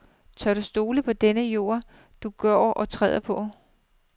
Tør du stole på den jord, du går og træder på.